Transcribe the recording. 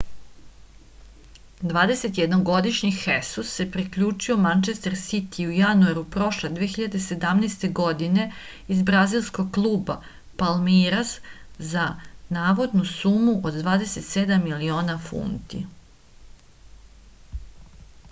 dvadesetjednogodišnji hesus se priključio mančester sitiju u januaru prošle 2017. godine iz brazilskog kluba palmeiras za navodnu sumu od 27 miliona funti